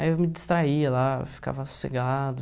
Aí eu me distraía lá, ficava sossegado.